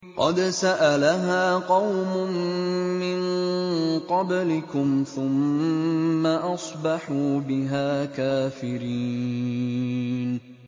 قَدْ سَأَلَهَا قَوْمٌ مِّن قَبْلِكُمْ ثُمَّ أَصْبَحُوا بِهَا كَافِرِينَ